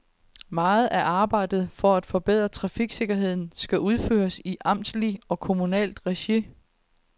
Meget af arbejdet for at forbedre trafiksikkerheden skal udføres i amtsligt og kommunalt regi.